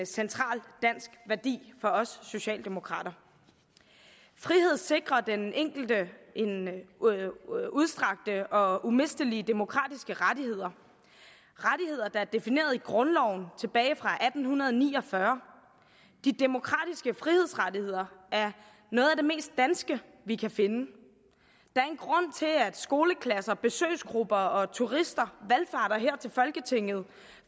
central dansk værdi for os socialdemokrater frihed sikrer den enkelte udstrakte og umistelige demokratiske rettigheder rettigheder der er defineret i grundloven tilbage fra atten ni og fyrre de demokratiske frihedsrettigheder er noget af det mest danske vi kan finde der er en grund til at skoleklasser besøgsgrupper og turister valfarter her til folketinget